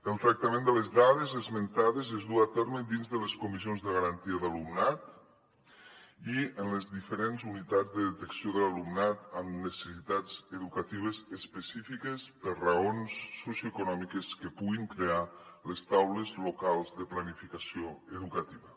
el tractament de les dades esmentades és du a terme dins de les comissions de garantia d’alumnat i en les diferents unitats de detecció de l’alumnat amb necessitats educatives específiques per raons socioeconòmiques que puguin crear les taules locals de planificació educativa